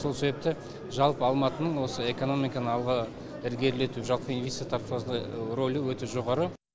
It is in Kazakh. сол себепті жалпы алматының осы экономиканы алға ілгерілету жалпы инвестиция тартуда рөлі өте жоғары